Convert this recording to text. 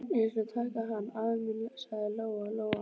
Ég skal taka hann, afi minn, sagði Lóa-Lóa.